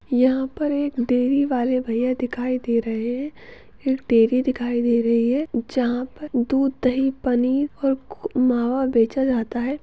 यहाँ पर एक डेरी वाले भैया दिखाई दे रहे है एक डेरी दिखाई दे रही है जहाँ पर दूध दही पनीर और खो मावा बेचा जाता है।